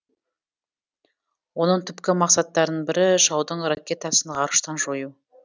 оның түпкі мақсаттарының бірі жаудың ракетасын ғарыштан жою